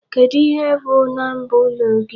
Kedụ ihe bụ bu number ụlọ gị?